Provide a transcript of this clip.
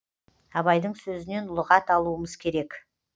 абайдың сөзінен лұғат алуымыз керек